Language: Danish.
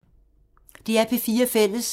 DR P4 Fælles